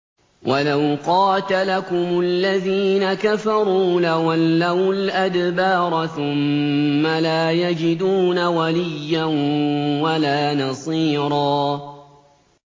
وَلَوْ قَاتَلَكُمُ الَّذِينَ كَفَرُوا لَوَلَّوُا الْأَدْبَارَ ثُمَّ لَا يَجِدُونَ وَلِيًّا وَلَا نَصِيرًا